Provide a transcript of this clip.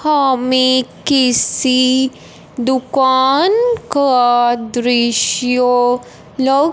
हामें किसी दुकान का दृश्य लग--